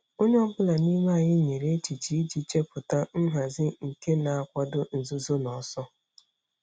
Onye ọ bụla n'ime anyị nyere echiche iji chepụta nhazi nke na-akwado nzuzo na ọsọ.